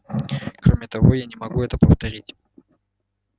кроме того я не могу это повторить